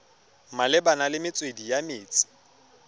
malebana le metswedi ya metsi